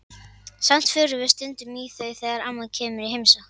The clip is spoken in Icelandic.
Samt förum við stundum í þau þegar amma kemur í heimsókn.